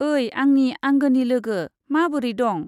ओइ आंनि आंगोनि लोगो, माबोरै दं?